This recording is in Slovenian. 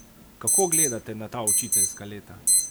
Kako gledate na ta učiteljska leta?